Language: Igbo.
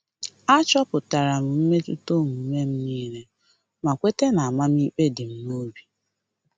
Achọpụtara m mmetụta omume m nile ma kweta na amamikpe di m n'obi